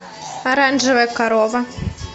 оранжевая корова